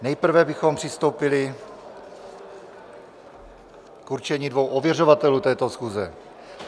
Nejprve bychom přistoupili k určení dvou ověřovatelů této schůze.